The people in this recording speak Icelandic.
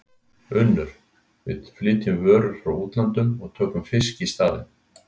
UNNUR: Við flytjum vörur frá útlöndum og tökum fisk í staðinn.